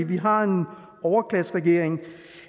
vi har en overklasseregering